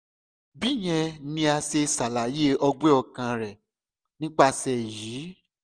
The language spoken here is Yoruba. bíyẹn ni a ṣe ṣalaye ọgbẹ ọkàn rẹ nipasẹ eyi